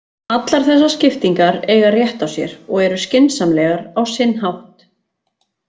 Allar þessar skiptingar eiga rétt á sér og eru skynsamlegar á sinn hátt.